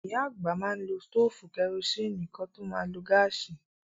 Ìyá àgbà má n lo stófù karosín kán tó ma lo gáàsì.